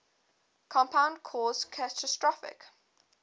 compound caused catastrophic